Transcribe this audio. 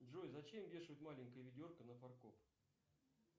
джой зачем вешают маленькое ведерко на фаркоп